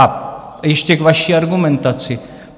A ještě k vaší argumentaci.